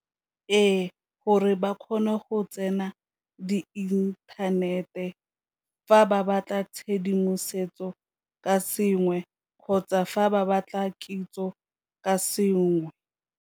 Ee, gore ba kgone go tsena di inthanete fa ba batla tshedimosetso ka sengwe kgotsa fa ba batla kitso ka sengwe.